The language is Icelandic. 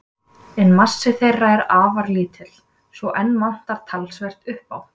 En massi þeirra er afar lítill, svo enn vantar talsvert upp á.